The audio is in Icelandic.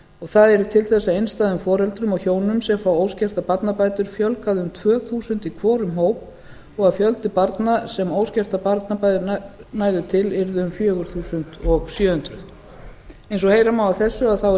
það yrði til þess að einstæðum foreldrum og hjónum sem fá óskertar barnabætur fjölgaði um tvö þúsund í hvorum hópi og að fjöldi barna sem óskertar barnabætur næðu til yrði um fjögur þúsund sjö hundruð eins og heyra má af þessu er